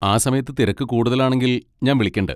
ആ സമയത്ത് തിരക്ക് കൂടുതൽ ആണെങ്കിൽ ഞാൻ വിളിക്കണ്ട്.